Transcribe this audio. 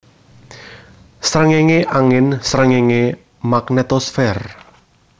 Sréngéngé angin Sréngéngé magnetosfer